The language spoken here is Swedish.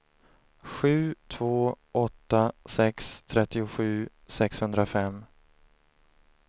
sju två åtta sex trettiosju sexhundrafem